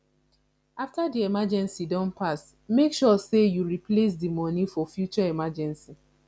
after di emeegency don pass make sure sey you replace di money for future emergency